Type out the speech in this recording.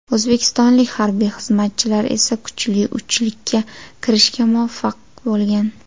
O‘zbekistonlik harbiy xizmatchilar esa kuchli uchlikka kirishga muvaffaq bo‘lgan.